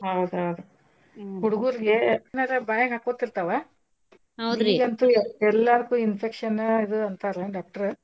ಹೌದ್ ಹೌದ್ ಹುಡುಗುರ್ಗೇ ಏನರ ಬಾಯಾಗ್ ಹಾಕ್ಕೋಟಿರತವ ಈಗಂತೂ ಎಲ್ಲಾದಕ್ಕೂ infection ಇದ್ ಅಂತರ doctor .